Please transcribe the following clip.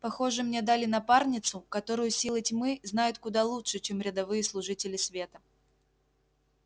похоже мне дали напарницу которую силы тьмы знают куда лучше чем рядовые служители света